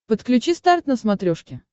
подключи старт на смотрешке